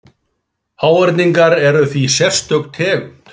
Háhyrningar eru því sérstök tegund.